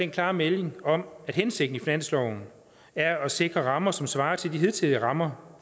klare melding om at hensigten i finansloven er at sikre rammer som svarer til de hidtidige rammer